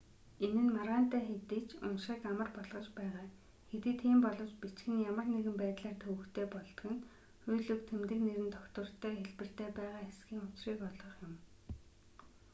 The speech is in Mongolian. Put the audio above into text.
энэ нь маргаантай хэдий ч уншихыг амар болгож байгаа хэдий тийм боловч бичих нь ямар нэгэн байдлаар төвөгтэй болдог нь үйл үг тэмдэг нэр нь тогтвортой хэлбэртээ байгаа эсхийн учрыг олох юм